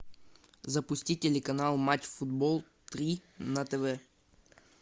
запусти телеканал матч футбол три на тв